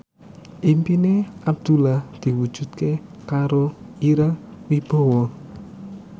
impine Abdullah diwujudke karo Ira Wibowo